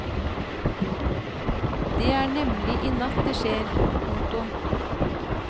Det er nemlig i natt det skjer. punktum